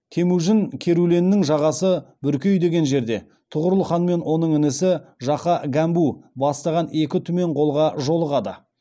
темужін керуленнің жағасы бүркей деген жерде тұғырылханмен оның інісі жақа гәмбу бастаған екі түмен қолға жолығады